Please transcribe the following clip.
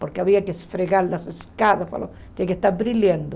Porque havia que esfregar as escadas, falou, tinha que estar brilhando.